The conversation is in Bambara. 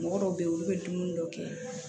Mɔgɔ dɔw be yen olu be dumuni dɔ kɛ